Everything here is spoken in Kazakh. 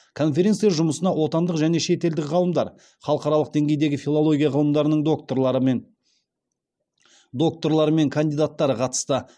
конференция жұмысына отандық және шетелдік ғалымдар халықаралық деңгейдегі филология ғылымдарының докторлары мен докторлары мен кандидаттары қатысты